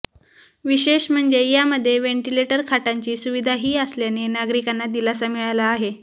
विशेष म्हणजे यामध्ये व्हेंटिलेटर खाटांची सुविधाही असल्याने नागरिकांना दिलासा मिळाला आहे